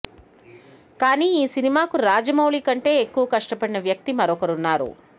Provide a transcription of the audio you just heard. కానీ ఈ సినిమాకు రాజమౌళి కంటే ఎక్కువగా కష్టపడిన వ్యక్తి మరొకరు ఉన్నారు